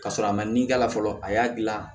Ka sɔrɔ a ma ni ka la fɔlɔ a y'a dilan